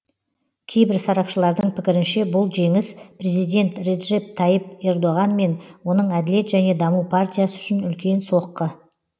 кейбір сарапшылардың пікірінше бұл жеңіс президент реджеп тайып ердоған мен оның әділет және даму партиясы үшін үлкен соққы